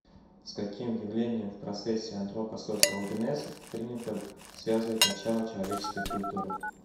с каким явлением в процессе антропосоциогенеза принято связывать начало человеческой культуры